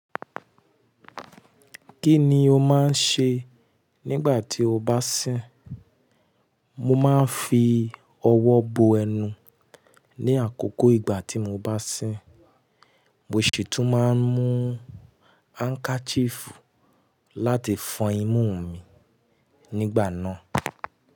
Kí ni o máa ń ṣe nígbà tí o bá sín? Mo máa ń fi ọwọ́ bo ẹnu ní àkókò ìgbà tí mo bá sín. Mo sì tún máa ń mú handkerchief láti fọn imú mi nígbà náà.